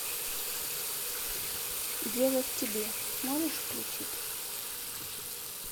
дело в тебе можешь включить